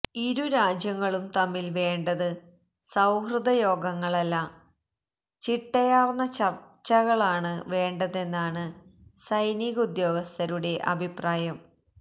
ഇരുരാജ്യങ്ങളും തമ്മില് വേണ്ടത് സൌഹൃദ യോഗങ്ങളല്ല ചിട്ടയാര്ന്ന ചര്ച്ചകളാണ് വേണ്ടതെന്നാണ് സൈനിക ഉദ്യോഗസ്ഥരുടെ അഭിപ്രായം